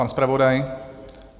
Pan zpravodaj?